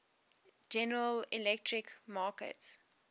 general electric markets